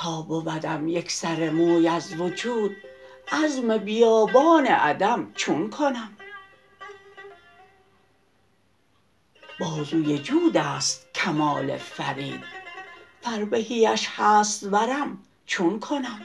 تا بودم یک سر موی از وجود عزم بیابان عدم چون کنم بازوی جود است کمال فرید فربهیش هست ورم چون کنم